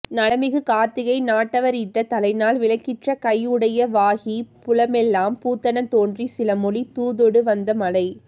நலமிகு கார்த்திகை நாட்டவ ரிட்ட தலைநாள் விளக்கிற் றகையுடைய வாகிப் புலமெலாம் பூத்தன தோன்றி சிலமொழி தூதொடு வந்த மழை